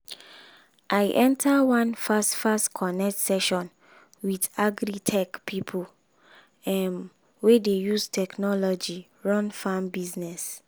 i enter one fast-fast connect session with agri-tech pipo um wey dey use technology run farm business.